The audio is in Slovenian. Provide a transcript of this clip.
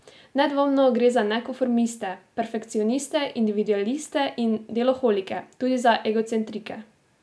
Nedvomno gre za nekonformiste, perfekcioniste, individualiste in deloholike, tudi za egocentrike.